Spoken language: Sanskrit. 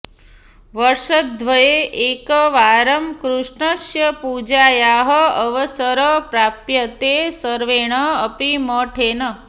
वर्षद्वये एकवारं कृष्णस्य पूजायाः अवसरः प्राप्यते सर्वेण अपि मठेन